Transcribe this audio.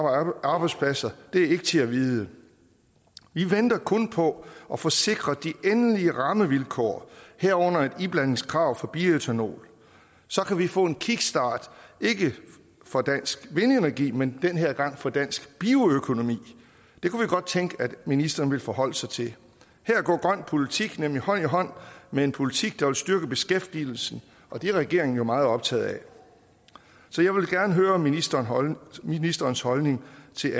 af arbejdspladser er ikke til at vide vi venter kun på at få sikret de endelige rammevilkår herunder et iblandingskrav for bioætanol så kan vi få en kickstart ikke for dansk vindenergi men den her gang for dansk bioøkonomi det kunne vi godt tænke at ministeren ville forholde sig til her går grøn politik nemlig hånd i hånd med en politik der vil styrke beskæftigelsen og det er regeringen jo meget optaget af så jeg vil gerne høre ministerens ministerens holdning til